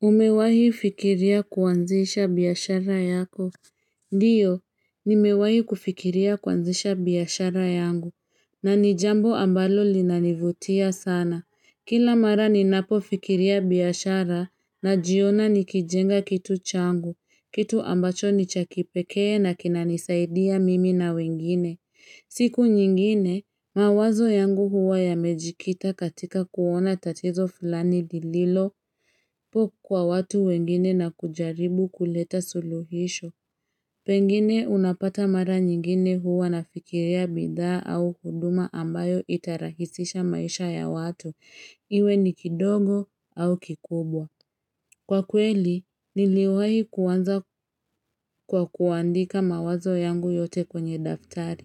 Umewahi fikiria kuanzisha biashara yako. Ndiyo, nimewahi kufikiria kuanzisha biashara yangu, na ni jambo ambalo linanivutia sana. Kila mara ninapo fikiria biashara, najiona nikijenga kitu changu, kitu ambacho ni cha kipekee na kinanisaidia mimi na wengine. Siku nyingine, mawazo yangu huwa yamejikita katika kuona tatizo fulani lililo. Po kwa watu wengine na kujaribu kuleta suluhisho, pengine unapata mara nyingine huwa nafikiria bidhaa au huduma ambayo itarahisisha maisha ya watu, iwe ni kidogo au kikubwa. Kwa kweli, niliwahi kuanza kwa kuandika mawazo yangu yote kwenye daftari.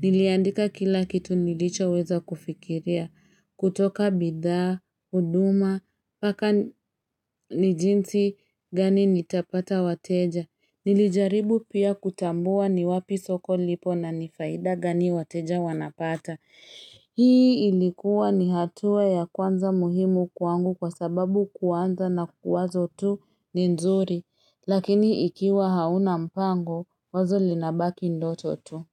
Niliandika kila kitu nilichoweza kufikiria. Kutoka bidhaa, huduma, mpaka ni jinsi gani nitapata wateja. Nilijaribu pia kutambua ni wapi soko lipo na ni faida gani wateja wanapata. Hii ilikuwa ni hatua ya kwanza muhimu kwangu kwa sababu kuanza na kuwazo tu ni nzuri Lakini ikiwa hauna mpango wazo linabaki ndoto tu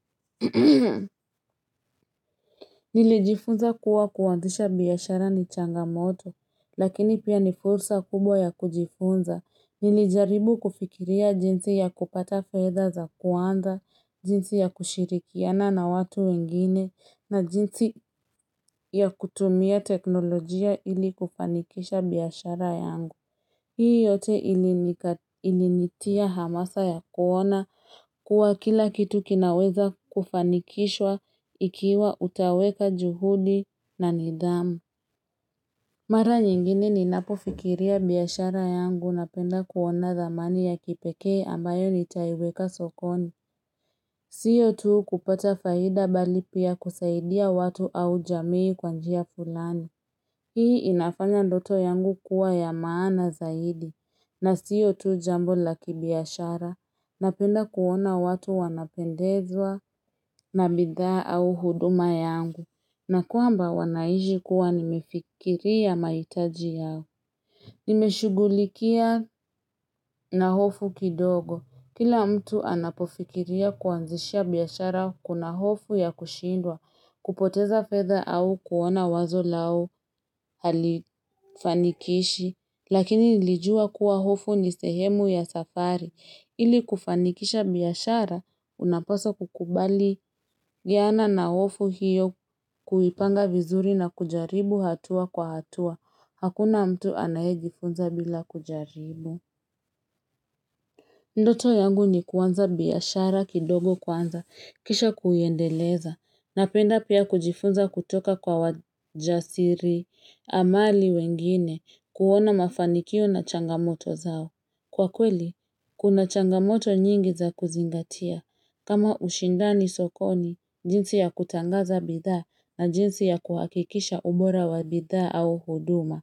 Nilijifunza kuwa kuanzisha biashara ni changamoto Lakini pia ni fursa kubwa ya kujifunza Nilijaribu kufikiria jinsi ya kupata fedha za kwanza jinsi ya kushirikiana na watu wengine na jinsi ya kutumia teknolojia ili kufanikisha biashara yangu. Hii yote ilinitia hamasa ya kuona kuwa kila kitu kinaweza kufanikishwa ikiwa utaweka juhudi na nidhamu. Mara nyingine ninapofikiria biashara yangu napenda kuona thamani ya kipekee ambayo nitaiweka sokoni. Sio tu kupata faida bali pia kusaidia watu au jamii kwa njia fulani. Hii inafanya ndoto yangu kuwa ya maana zaidi. Na sio tu jambo la kibiashara. Napenda kuona watu wanapendezwa na bidhaa au huduma yangu. Na kwamba wanaishi kuwa nimefikiria mahitaji yao. Nimeshughulikia na hofu kidogo. Kila mtu anapofikiria kuanzisha biashara kuna hofu ya kushindwa, kupoteza fedha au kuona wazo lao halifanikishi, lakini nilijua kuwa hofu ni sehemu ya safari. Ili kufanikisha biashara, unapaswa kukubali viana na hofu hiyo kuipanga vizuri na kujaribu hatua kwa hatua. Hakuna mtu anayejiifunza bila kujaribu. Ndoto yangu ni kwanza biashara kidogo kwanza, kisha kuiendeleza, napenda pia kujifunza kutoka kwa wajasiri, amali wengine, kuona mafanikio na changamoto zao. Kwa kweli, kuna changamoto nyingi za kuzingatia. Kama ushindani sokoni, jinsi ya kutangaza bidhaa na jinsi ya kuhakikisha ubora wa bidhaa au huduma.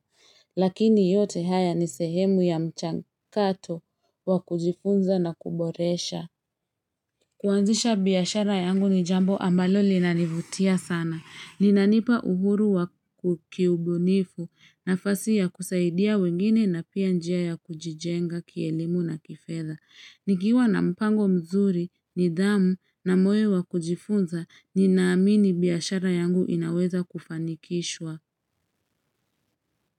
Lakini yote haya ni sehemu ya mchangato wa kujifunza na kuboresha. Kuanzisha biashara yangu ni jambo ambalo linanivutia sana. Linanipa uhuru wa kukiubunifu nafasi ya kusaidia wengine na pia njia ya kujijenga kielimu na kifedha. Nikiwa na mpango mzuri, nidhamu na moyo wa kujifunza, ninaamini biashara yangu inaweza kufanikishwa.